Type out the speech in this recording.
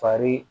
Fari